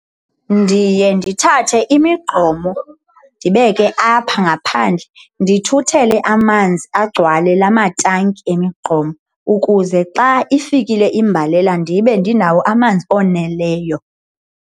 Ndiye ndithathe imigqomo ndibeke apha ngaphandle, ndithuthele amanzi agcwale la matanki emigqomo ukuze xa ifikile imbalela ndibe ndinawo amanzi oneleyo.